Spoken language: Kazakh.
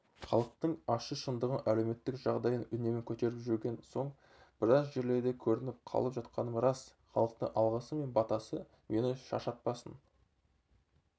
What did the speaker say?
халықтың ащы шындығын әлеуметтік жағдайын үнемі көтеріп жүрген соң біраз жерлерде көрініп қалып жатқаным рас халықтың алғысы мен батасы мені шаршатпасын